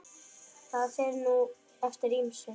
Það fer nú eftir ýmsu.